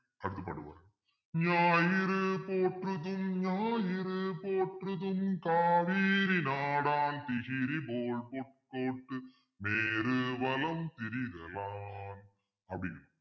ஞாயிறு போற்றுதும் ஞாயிறு போற்றுதும் காவிரி நாடன் திகிரிபோல் பொற்கோட்டு மேரு வலம்திரி தலான் அப்பிடின்னு